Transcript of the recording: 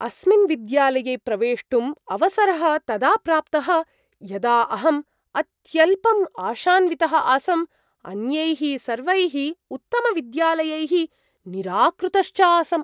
अस्मिन् विद्यालये प्रवेष्टुम् अवसरः तदा प्राप्तः यदा अहम् अत्यल्पम् आशान्वितः आसम्, अन्यैः सर्वैः उत्तमविद्यालयैः निराकृतश्च आसम्।